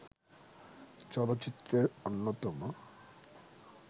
চলচ্চিত্রের অন্যতম